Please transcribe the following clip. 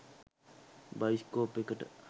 Bioscope එකට.